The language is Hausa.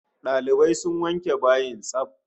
Dalibai sun wanke bayin tsaf